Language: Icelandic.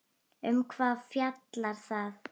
Um hvað fjallar það?